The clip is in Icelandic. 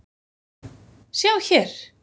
sjá hér!